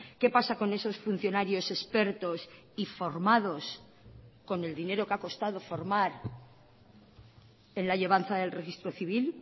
qué pasa con esos funcionarios expertos y formados con el dinero que ha costado formar en la llevanza del registro civil